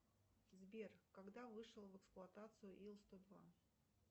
сбер когда вышел в эксплуатацию ил сто два